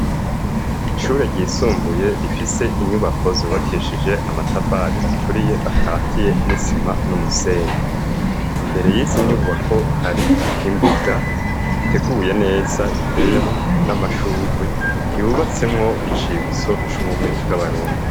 Ishure ryisumbuye rifise inyubako zubakishije amatafari aturiye akatiye n'isima n'umusenyi. Imbere y'izi nyubako hari imbuga iteguye neza iteyemwo n'amashurwe, yubatsemwo icibutso c'ubumwe bw'abarundi.